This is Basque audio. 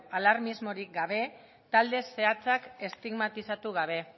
alarmismorik gabe talde zehatzak estigmatizatu gabe